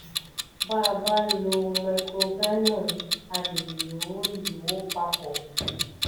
bá a bá lo microgynon a lè lò lò ó papọ̀